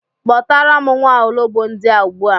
Kpọtara m nwaologbo ndia ugbua